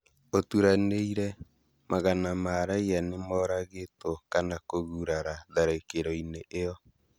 Ũturanĩire, magana ma raiya nĩmoragĩtwo kana kũgurara tharĩkĩro-inĩ iyo